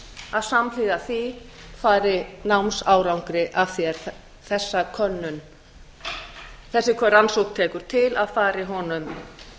að samhliða því fari námsárangri að því er þessi rannsókn tekur til að fari honum